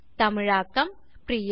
தமிழாக்கம் பிரியா